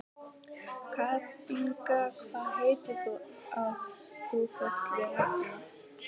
Katinka, hvað heitir þú fullu nafni?